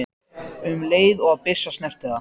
um leið og byssa snertir það.